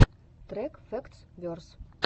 трек фэктс верс